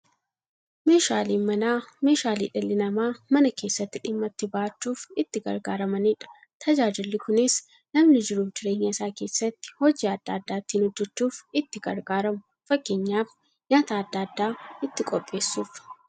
Meeshaaleen Manaa meeshaalee dhalli namaa Mana keessatti dhimma itti ba'achuuf itti gargaaramaniidha. Tajaajilli kunis, namni jiruuf jireenya isaa keessatti hojii adda adda ittiin hojjachuuf itti gargaaramu. Fakkeenyaf, nyaata adda addaa ittiin qopheessuuf.